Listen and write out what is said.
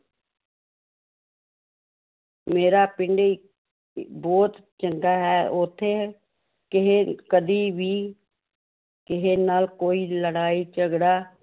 ਮੇਰਾ ਪਿੰਡ ਬਹੁਤ ਚੰਗਾ ਹੈ ਉੱਥੇ ਕਿਸੇ ਕਦੀ ਵੀ ਕਿਸੇ ਨਾਲ ਕੋਈ ਲੜਾਈ ਝਗੜਾ